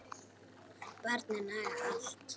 Barnið nagaði allt.